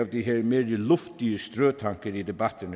de her mere luftige strøtanker i debatten